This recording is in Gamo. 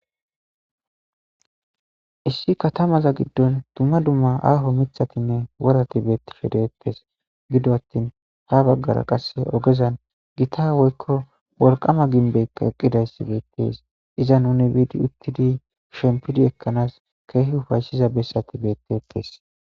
issi katamaza giddon dumma dumma aaho mithatinne worati beetti shedeettes gido attin ha baggara qasse ogezan gita woykko wolqama ginbeykka eqqidayssi beettes iza nuni biidi uttidi shempidi ekkanaas keehi ufayshiza bessati beettettes